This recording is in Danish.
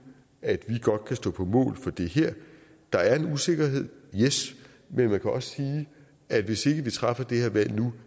at vi godt kan stå på mål for det her der er en usikkerhed yes men man kan også sige at hvis ikke vi træffer det her valg nu